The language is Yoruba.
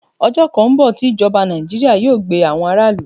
Ọjọ́ kan ń bọ̀ tí ìjọba Nàìjíríà máa gbe àwọn aráàlú.